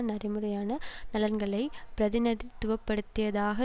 நடைமுறையான நலன்களை பிரதிநிதித்துவப்படுத்தியதாக